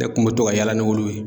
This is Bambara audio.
Ne kun bɛ to ka yaala n'olu ye.